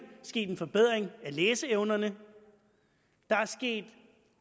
sket en forbedring af læseevnerne der er sket